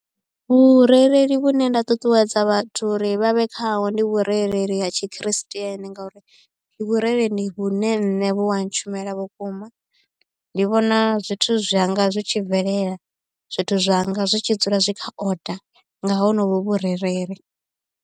Vhurereli vhune nda ṱuṱuwedza vhathu uri vha vhe khaho ndi vhurereli ha tshi christian ngauri ndi vhurereli vhune nṋe vhu a ntshumela vhukuma ndi vhona zwithu zwanga zwi tshi bvelela zwithu zwanga zwi tshi dzula zwi kha order nga honovhu vhurereli.